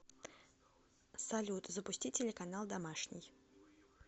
салют запусти телеканал домашний